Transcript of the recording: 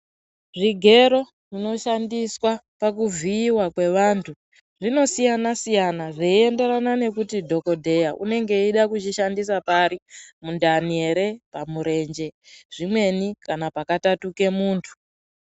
Zvigero zvinoshandiswa pakuvhiyiwa kwevantu zvinosiyana siyana zveienderana nekuti dhokodheya unenge eida kuchishandisa pari ,mundani here ,pamurenje zvimweni kana pakatatuke muntu.